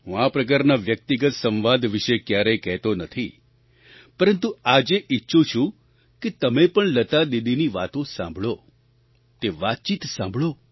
હું આ પ્રકારના વ્યક્તિગત સંવાદ વિશે ક્યારેય કહેતો નથી પરંતુ આજે ઈચ્છું છું કે તમે પણ લતા દીદીની વાતો સાંભળો તે વાતચીત સાંભળો